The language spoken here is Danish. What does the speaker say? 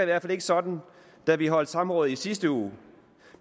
hvert fald ikke sådan da vi holdt samrådet i sidste uge